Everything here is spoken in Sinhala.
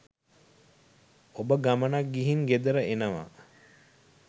ඔබ ගමනක් ගිහින් ගෙදර එනවා